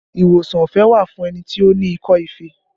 Ìwòsàn ọ̀fẹ́ wà fún ẹni tí ó ní ikọ́ ife